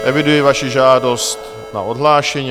Eviduji vaši žádost na odhlášení.